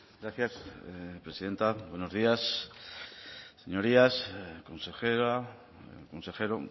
gracias presidenta buenos días señorías consejera consejero